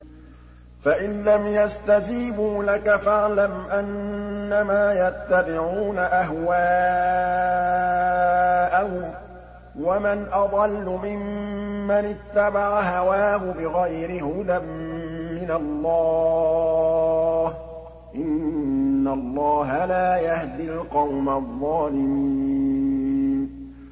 فَإِن لَّمْ يَسْتَجِيبُوا لَكَ فَاعْلَمْ أَنَّمَا يَتَّبِعُونَ أَهْوَاءَهُمْ ۚ وَمَنْ أَضَلُّ مِمَّنِ اتَّبَعَ هَوَاهُ بِغَيْرِ هُدًى مِّنَ اللَّهِ ۚ إِنَّ اللَّهَ لَا يَهْدِي الْقَوْمَ الظَّالِمِينَ